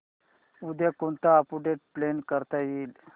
उद्या कोणतं update plan करता येईल